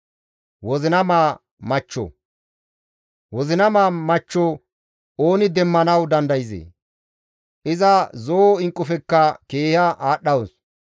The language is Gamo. Wozinama machcho ooni demmanawu dandayzee? Iza zo7o inqqufekka keeha aadhdhawus.